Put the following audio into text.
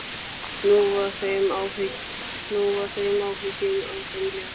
Nú var þeim áhyggjum af þeim létt.